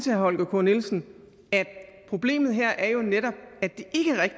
herre holger k nielsen at problemet her jo netop